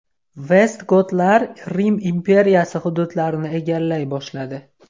Vestgotlar Rim imperiyasi hududlarini egallay boshladi.